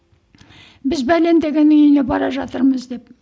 біз деген үйіне бара жатырмыз деп